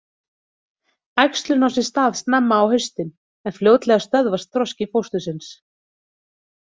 Æxlun á sér stað snemma á haustin en fljótlega stöðvast þroski fóstursins.